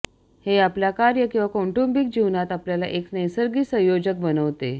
हे आपल्या कार्य किंवा कौटुंबिक जीवनात आपल्याला एक नैसर्गिक संयोजक बनविते